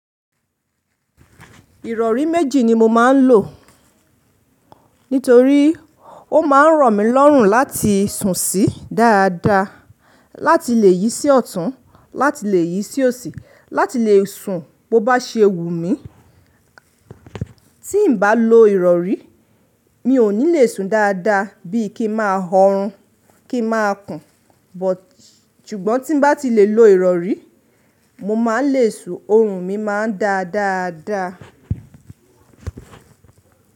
Ìrọ̀rí méjì ni mo máa ń lò. Nítorí ó máa ń ràn mí lọ́rùn láti sùn sí dáadáa, láti lè yí sí ọ̀tún, láti lè yí sí òsì, láti lè sùn bó bá ṣe wù mí. Tí n bá lò ìrọ̀rí mi ò ní le sùn dáadáa bí i kí n máa họrun, kí n máa kùn. But ṣùgbọ́n tí n bá ti lè lo ìrọ̀rí, mo máa le sùn, ọrùn mi máa ń dá dáadáa.